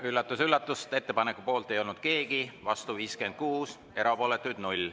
Üllatus-üllatus, ettepaneku poolt ei olnud keegi, vastu oli 56, erapooletuid 0.